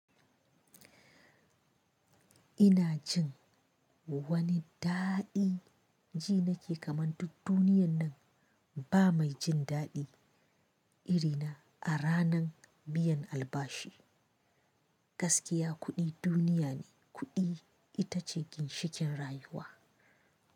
Ina jin wani daɗi, ji nake kamanta duniyan nan ba mai jindaɗi irina a ranan biyan albashi. Gaskiya kuɗi duniya ne, kuɗi itace ginshikin rayuwa.